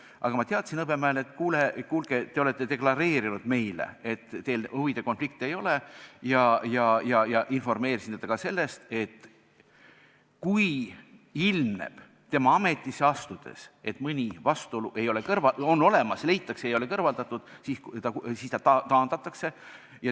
Aga ma teatasin Hõbemäele, et kuulge, te olete deklareerinud meile, et teil huvide konflikti ei ole, ja informeerisin teda ka sellest, et kui tema ametisse astudes ilmneb, et mõni vastuolu on olemas, seda ei ole kõrvaldatud, siis ta taandatakse.